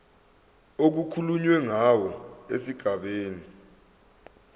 okukhulunywe ngawo esigabeni